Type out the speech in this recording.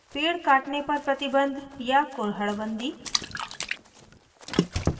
3 पेड़काटने पर प्रतिबन्ध या kurhad bandi